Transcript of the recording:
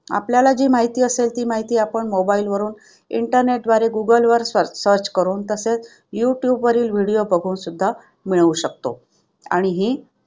आपल्याला जी माहिती असेल ती माहिती आपण mobile वरून internet द्वारे गुगल वर search करून तसेच युट्युब वरील video बघून सुद्धा मिळवू शकतो आणि ही